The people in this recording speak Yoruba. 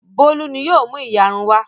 Bólú ni yóò mú ìyarun wá.